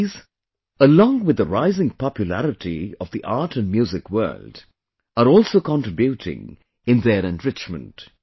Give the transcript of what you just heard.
These, along with the rising popularity of the art and music world are also contributing in their enrichment